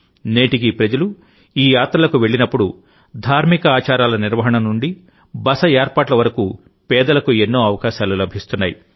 నేటికీప్రజలు ఈ యాత్రలకు వెళ్లినప్పుడుధార్మిక ఆచారాల నిర్వహణ నుండి బస ఏర్పాట్ల వరకు పేదలకుఎన్నో అవకాశాలు లభిస్తున్నాయి